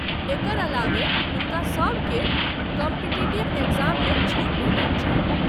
एकर अलावे हुनका सबके कॉम्पीटिटिव एग्जाममे छूट भेटैत छनि।